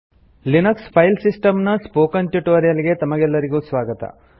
Linux file system ನ spoken tutorial ಗೆ ತಮಗೆಲ್ಲರಿಗೂ ಸ್ವಾಗತ